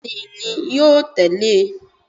Bẹ́ẹ̀ni ni, yóò tẹ̀lé e